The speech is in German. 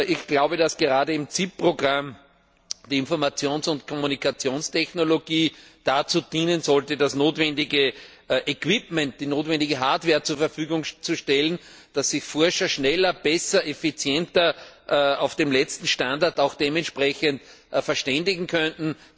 Ich glaube, dass gerade im CIP Programm die Informations und Kommunikationstechnologie dazu dienen sollte, das notwendige Equipment, die notwendige Hardware zur Verfügung zu stellen, damit sich die Forscher schneller, besser, effizienter auf dem letzten Stand der Technik verständigen können.